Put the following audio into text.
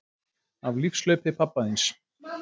Af lífshlaupi pabba þíns